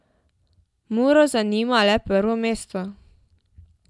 Muro zanima le prvo mesto.